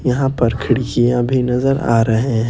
यहां पर खिड़कियां भी नजर आ रहे हैं।